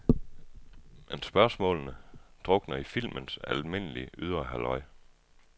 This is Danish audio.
Men spørgsmålene drukner i filmens almindelige, ydre halløj.